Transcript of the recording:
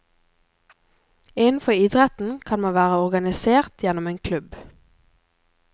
Innenfor idretten kan man være organisert gjennom en klubb.